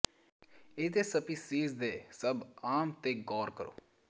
ਇਸ ਦੇ ਸਪੀਸੀਜ਼ ਦੇ ਸਭ ਆਮ ਤੇ ਗੌਰ ਕਰੋ